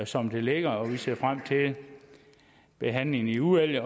som det ligger og vi ser frem til behandlingen i udvalget